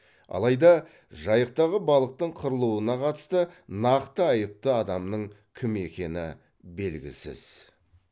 алайда жайықтағы балықтың қырылуына қатысты нақты айыпты адамның кім екені белгісіз